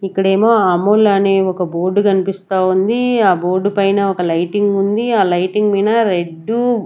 ఇక్కడేమో అమూల్ అనే ఒక బోర్డు కన్పిస్తా ఉంది ఆ బోర్డు పైన ఒక లైటింగ్ ఉంది ఆ లైటింగ్ మైన రెడ్డు --